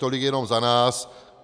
Tolik jenom za nás.